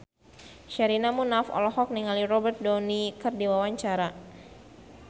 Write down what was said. Sherina Munaf olohok ningali Robert Downey keur diwawancara